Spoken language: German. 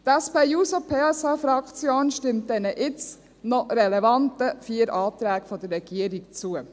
Die SP-JUSO-PSA-Fraktion stimmt diesen jetzt noch relevanten vier Anträgen der Regierung zu.